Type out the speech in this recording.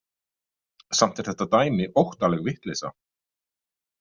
Samt er þetta dæmi óttaleg vitleysa.